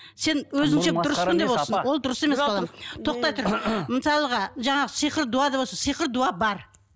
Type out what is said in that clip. сен өзіңше дұрыспын деп отырсың ол дұрыс емес балам тоқтай тұр мысалға жаңағы сиқыр дуа деп отырсың сиқыр дуа бар